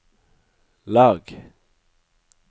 lag